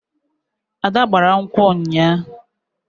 Ada gbara nkwu ụnyaahụ